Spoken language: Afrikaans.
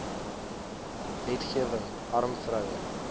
wetgewing arm vroue